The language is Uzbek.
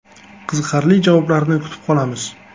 Qiziqarli javoblarni kutib qolamiz.